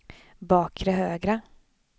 bakre högra